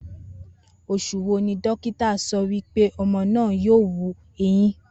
Os̩ù wo ni dókítà so̩ wí pé o̩mo̩ náà yóò wu eyín?